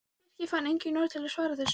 Birkir fann engin orð til að svara þessu.